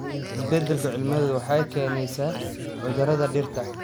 Isbeddelka cimiladu waxay keenaysaa cudurrada dhirta.